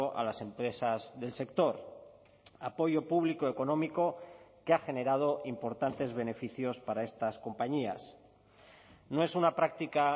a las empresas del sector apoyo público económico que ha generado importantes beneficios para estas compañías no es una práctica